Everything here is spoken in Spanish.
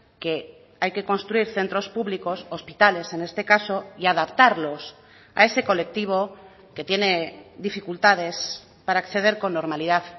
que hay que construir centros públicos hospitales en este caso y adaptarlos a ese colectivo que tiene dificultades para acceder con normalidad